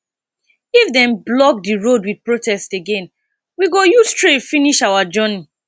if dem block di road wit protest again we go use train finish our journey